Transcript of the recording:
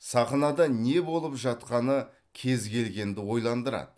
сахнада не болып жатқаны кез келгенді ойландырады